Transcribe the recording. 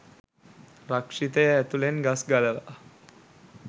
රක්ෂිතය ඇතුළෙන් ගස් ගලවා